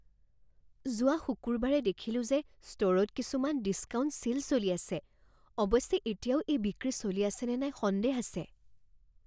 যোৱা শুকুৰবাৰে দেখিলোঁ যে ষ্ট'ৰত কিছুমান ডিছকাউণ্ট ছে'ল চলি আছে। অৱশ্যে এতিয়াও এই বিক্ৰী চলি আছেনে নাই সন্দেহ আছে।